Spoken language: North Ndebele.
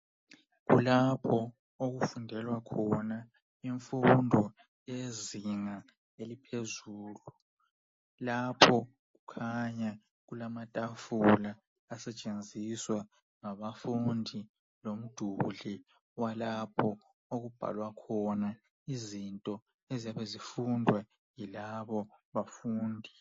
Kulapho okufundelwa khona imfundo eyezinga eliphezulu. Lapho kukhanya kulamatafula asetshenziswa ngabafundi, lomduli walapho okubhalwa khona izinto eziyabe zifundwa yilabo bafundi.